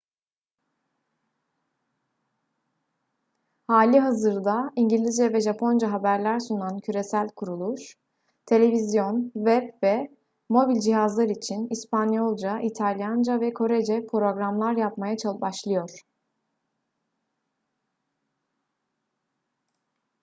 halihazırda i̇ngilizce ve japonca haberler sunan küresel kuruluş; televizyon web ve mobil cihazlar için i̇spanyolca i̇talyanca ve korece programlar yapmaya başlıyor